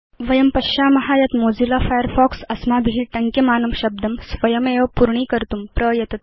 वयं पश्याम यत् मोजिल्ला फायरफॉक्स अस्माभि टङ्क्यमानं शब्दं स्वयमेव पूर्णीकर्तुं प्रयतते